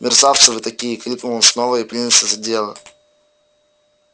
мерзавцы вы этакие крикнул он снова и принялся за дело